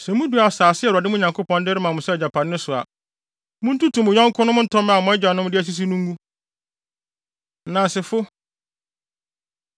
Sɛ mudu asase a Awurade, mo Nyankopɔn no, de rema mo sɛ agyapade no so a, munntutu mo yɔnkonom ntɔmmɛ a mo agyanom asisi no ngu. Nnansefo